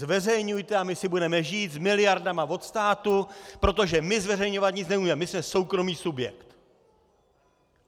Zveřejňujte a my si budeme žít s miliardama od státu, protože my zveřejňovat nic nebudem, my jsme soukromý subjekt.